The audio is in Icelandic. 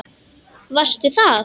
Varstu það?